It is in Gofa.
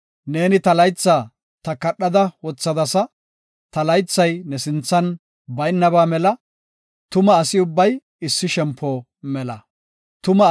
Neeni ta laytha takadhada wothadasa; Ta laythay ne sinthan baynaba mela; tuma asi ubbay issi shempo mela. Salaha